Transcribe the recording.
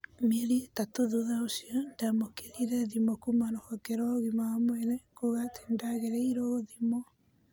Mieri ĩtatũthutha ũcio nĩ ndamũkĩrire thĩmũkuuma ruhonge rwa ũgima wa mwĩrĩ kuuga ati nĩndagĩrĩirwo gũthimwo